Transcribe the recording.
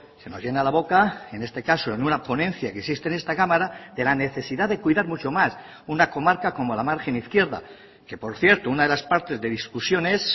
se nos llena la boca en este caso en una ponencia que existe en esta cámara de la necesidad de cuidar mucho más una comarca como la margen izquierda que por cierto una de las partes de discusión es